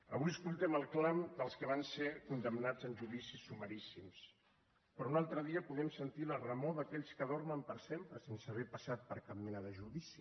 avui escoltem el clam dels que van ser condemnats en judicis sumaríssims però un altre dia podem sentir la remor d’aquells que dormen per sempre sense haver passat per cap mena de judici